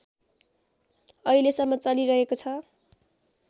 अहिलेसम्म चलिरहेको छ